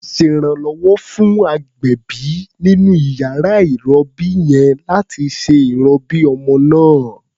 Ṣèrànwọ́ fún agbẹ̀bí nínú iyàrá ìrọbí yẹn láti ṣe ìrọbí ọmọ náà.